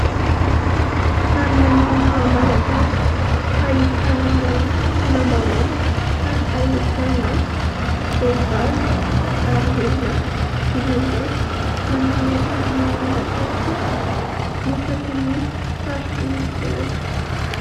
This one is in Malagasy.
Sary maneho ny maha Malagasy : ahitana lambahoany ary ahitana vehivavy ary lehilahy mianjaika manao ny akanjo maha malagasy isaky ny faritra misy azy.